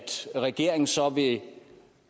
regeringen så vil